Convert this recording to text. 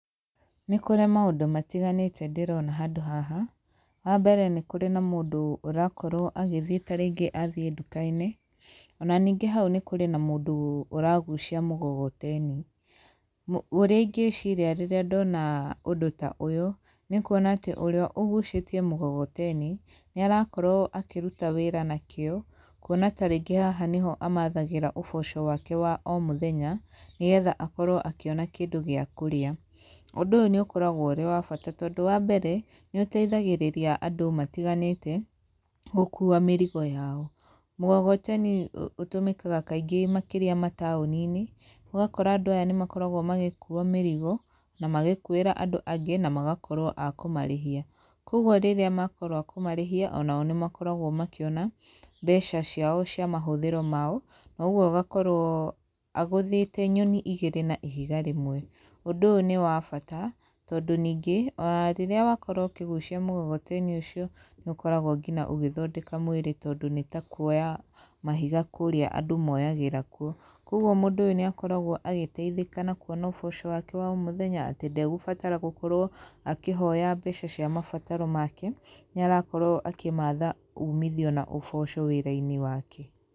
Nĩkũrĩ maũndũ matiganĩte ndĩrona handũ haha, wa mbere nĩ kũrĩ na mũndũ ũrakorwo agĩthiĩ tarĩngĩ athiĩ nduka-inĩ, ona ningĩ hau nĩ kũrĩ na mũndũ ũragucia mũgogoteni, mũ ũrĩa ingĩciria rĩrĩa ndona ũndũ ta ũyũ, nĩ kuona atĩ ũrĩa ũguciĩtie mũgogoteni, nĩ arakorwo akĩruta wĩra na kĩo kwona tarĩngĩ haha nĩho amathagĩra ũboco wake wa o mũthenya nĩgetha akorwo akĩona kĩndũ gĩaKe gĩa kũrĩa, ũndũ ũyũ nĩ ũkoragwo ũrĩ wa bata tondũ wa mbere nĩ ũteithagĩrĩria andũ matiganĩte gũkuwa mĩrigo yao, mũgogoteni ũtũmĩkaga kaingĩ makĩria mataũninĩ, ũgakora andũ aya nĩ makoragwo magĩkuwa mĩrigo, na magĩkuwĩra andũ angĩ, na magakorwo akũmarĩhia, koguo rĩrĩa makorwo a kũmarĩhia onao nĩ makoragwo makĩona mbeca ciao cia mahothĩro mao, noguo agakorwo agũthĩte nyoni igĩri na ihiga rĩmwe, ũndũ ũyũ nĩ wa bata tondũ ningĩ onarĩrĩa wakorwo ũkĩgucia mũgogoteninĩ ũcio nĩ ũkoragwo ngina ũgĩthondeka mwĩrĩ tondũ nĩ takuoya mahiga kũrĩa andũ moyagĩra kuo, koguo mũndũ ũyũ nĩ akoragwo agĩteithĩka na kuona ũboco wake wa o mũthenya atĩ ndegũbatara gũkorwo akĩhoya mbeca cia mabataro make, nĩ arakorwo akĩmatha umithio na ũboco wĩra-inĩ wake.